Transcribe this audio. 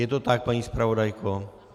Je to tak, paní zpravodajko?